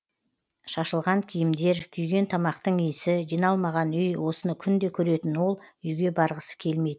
шашылған киімдер күйген тамақтың иісі жиналмаған үй осыны күнде көретін ол үйге барғысы келмейтін